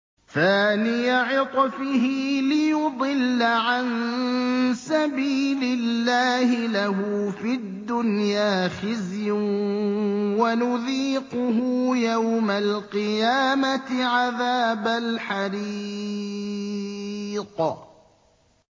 ثَانِيَ عِطْفِهِ لِيُضِلَّ عَن سَبِيلِ اللَّهِ ۖ لَهُ فِي الدُّنْيَا خِزْيٌ ۖ وَنُذِيقُهُ يَوْمَ الْقِيَامَةِ عَذَابَ الْحَرِيقِ